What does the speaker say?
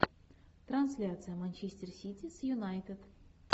трансляция манчестер сити с юнайтед